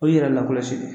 O y'i yɛrɛ lakɔlɔsi de ye